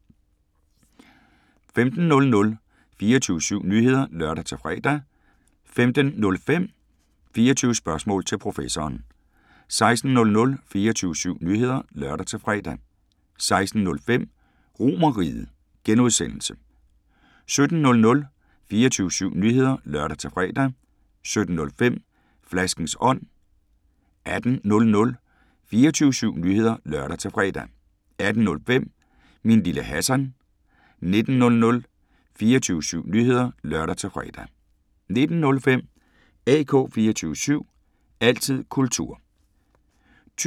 15:00: 24syv Nyheder (lør-fre) 15:05: 24 Spørgsmål til Professoren 16:00: 24syv Nyheder (lør-fre) 16:05: RomerRiget (G) 17:00: 24syv Nyheder (lør-fre) 17:05: Flaskens ånd 18:00: 24syv Nyheder (lør-fre) 18:05: Min Lille Hassan 19:00: 24syv Nyheder (lør-fre) 19:05: AK 24syv – altid kultur